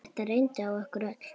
Þetta reyndi á okkur öll.